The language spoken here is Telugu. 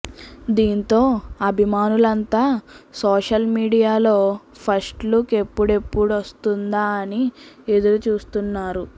దీంతో అభిమానులంతా సోషల్ మీడియాలో ఫస్ట్ లుక్ ఎప్పుడెప్పుడు వస్తుందా అని ఎదురుచూస్తున్నారు